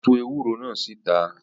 Ó tu ewúro náà síta.